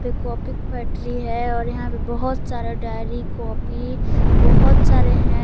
ये कॉपी की फैक्ट्री है और यहां पे बहोत सारा डायरी कॉपी बहोत सारे हैं।